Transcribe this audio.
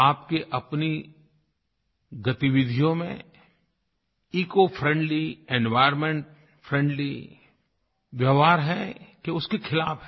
आपके अपनी गतिविधियों में इकोफ्रेंडली एन्वायर्नमेंटफ्रेंडली व्यवहार है कि उसके खिलाफ़ है